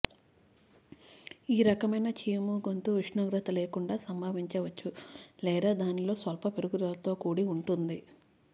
ఈ రకమైన చీము గొంతు ఉష్ణోగ్రత లేకుండా సంభవించవచ్చు లేదా దానిలో స్వల్ప పెరుగుదలతో కూడి ఉంటుంది